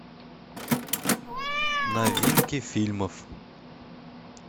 новинки фильмов